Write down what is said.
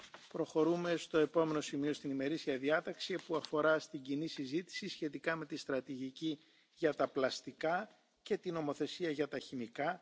dit op te krikken, moeten we het vertrouwen in de markt versterken via kwaliteitsstandaarden en verificatie. Ook minimumeisen voor gerecycleerde inhoud, een lager btw tarief en een circulair aankoopbeleid kunnen het gebruik van gerecycleerd plastic